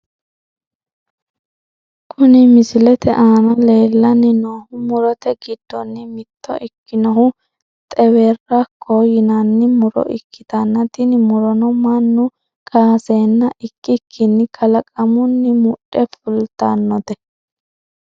Kuni misilete aana leellanni noohu murote giddonni mitto ikkinohu xewerrakkoho yinanni muro ikkitanna tini murono mannu kaaseenna ikkikinni kalaqamunni mudhe fultannote.